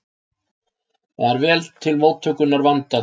Var vel til móttökunnar vandað.